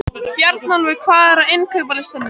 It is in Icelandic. Bjarnólfur, hvað er á innkaupalistanum mínum?